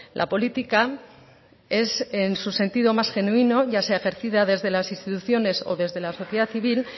la política es en su sentido más genuino ya sea ejercida desde las instituciones o desde la sociedad civil